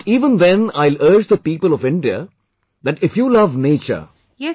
But even then I will urge the people of India that if you love nature,